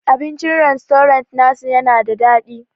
Abincin rastorant na su yana da daɗi.